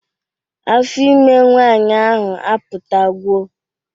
Afọ ime nwaanyị ahụ apụtagwo